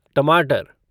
टमाटर